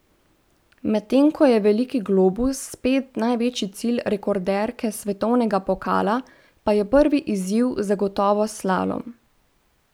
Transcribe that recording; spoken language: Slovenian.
Medtem ko je veliki globus spet največji cilj rekorderke svetovnega pokala, pa je prvi izziv zagotovo slalom.